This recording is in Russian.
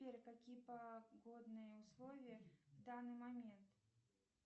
сбер какие погодные условия в данный момент